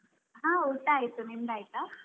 ಹಾ ಊಟ ಆಯ್ತು. ನಿಮ್ದು ಆಯ್ತಾ?